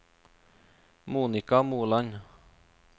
Monika Moland